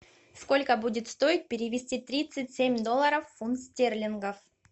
сколько будет стоить перевести тридцать семь долларов в фунт стерлингов